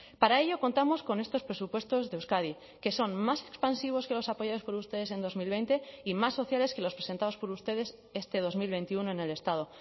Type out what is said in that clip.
para ello contamos con estos presupuestos de euskadi que son más expansivos que los apoyados por ustedes en dos mil veinte y más sociales que los presentados por ustedes este dos mil veintiuno en el estado